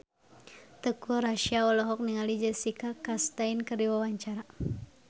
Teuku Rassya olohok ningali Jessica Chastain keur diwawancara